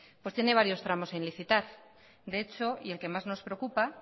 pues tiene varios tramos sin licitar de hecho y el que más nos preocupa